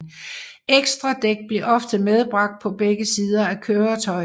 Ekstra dæk blev ofte medbragt på begge sider af køretøjet